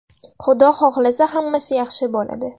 Xudo xohlasa, hammasi yaxshi bo‘ladi.